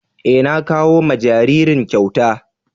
Eh, na kawo ma jaririn kyauta.